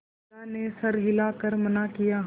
बिन्दा ने सर हिला कर मना किया